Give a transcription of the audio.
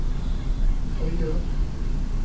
tøyer